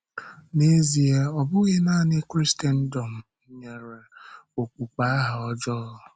N’ezìe, ọ bụghị nanị Krịstẹǹdị̀ọ̀m nyere okpukpe aha ọjọọ.